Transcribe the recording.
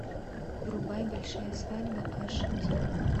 врубай большая свадьба аш ди